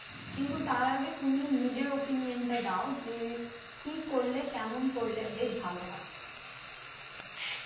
কিন্তু তার আগে তুমি নিজের opinion টা দাও যে কি করলে কেমন করলে বেশ ভালো হয়